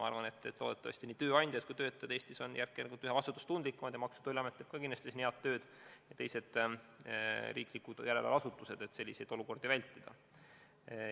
Ma arvan, et loodetavasti nii tööandjad kui ka töötajad on Eestis üha vastutustundlikumad ning Maksu- ja Tolliamet teeb ka kindlasti head tööd, samuti teised riiklikud järelevalveasutused, et selliseid asju vältida.